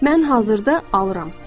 Mən hazırda alıram.